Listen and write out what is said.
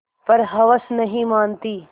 पर हवस नहीं मानती